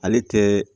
Ale tɛ